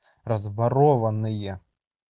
разворовывание